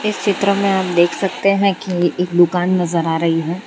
चित्र में हम देख सकते है की एक दुकान नजर आ रही है।